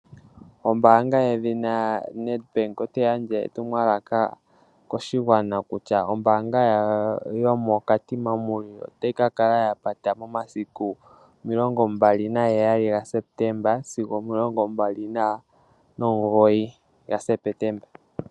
Ombaanga yedhina Nedbank otayi gandja etumwalaka koshigwana kutya ombaanga yawo Yomo Katima mulilo otayi kakala yapata momasiku omilongombali nagaheyali sigo omilongombali nomugoyi ga Sepetemba.